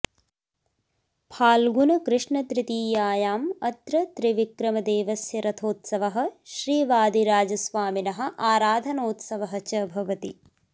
फाल्गुणकृष्णतृतीयायाम् अत्र त्रिविक्रमदेवस्य रथोत्सवः श्रीवादिराजस्वामिनः आराधनोत्सवः च भवति